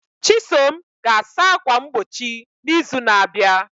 Chisom ga-asa ákwà mgbochi n'izu na-abịa.